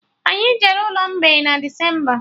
Anyị jere ụlọ mgbei na Decemba